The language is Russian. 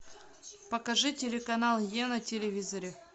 покажи телеканал е на телевизоре